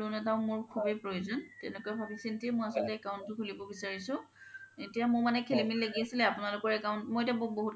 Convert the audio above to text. loan এটাও মোৰ খুবে প্ৰয়োজন তেনেকুৱা ভাবি চিন্তি আচলতে মই account তো খুলিব বিচাৰিছো এতিয়া মোৰ মানে খেলি মেলি লাগি আছিলে আপোনালোকৰ account মই এতিয়া বহুত কেইতা